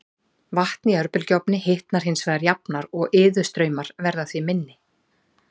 Vatn í örbylgjuofni hitnar hins vegar jafnar og iðustraumar verða því minni.